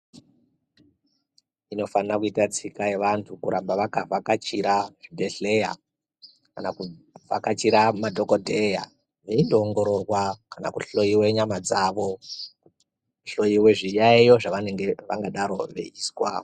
Inofana kuita pfungwa yevantu kuramba vakavhakachira zvibhedhlera kana kuvhakachira madhokoteya veindoongororwa kana kuhloiwa nyama dzawo nekuhloiwa zviyayo zvavangadaro veizwa.